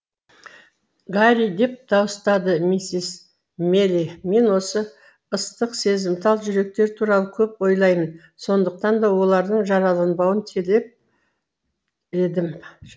гарри деп дауыстады миссис мэйли мен осы ыстық сезімтал жүректер туралы көп ойлаймын сондықтан да олардың жараланбауын телеп едім